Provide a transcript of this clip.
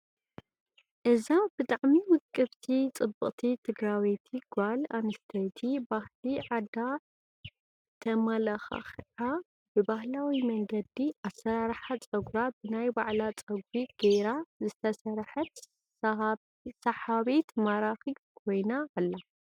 እዛ ብጠዓሚ ውቅብቲ ፅብቅቲ ትግራዊቲ ጋል አንስተይቲ ብሃሊ ዓዳ ተማላካክዓ ብባህላዊ መንገዲ አሰራርሓ ፀጉራ ብናይ ባዕላ ፀጉሪ ገይራ ዝተሰርሐት ሳሃብት ማራኪት ኾይና አላ።